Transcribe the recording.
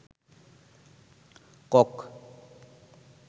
cock